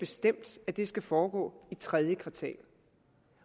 bestemt at det skal foregå i tredje kvartal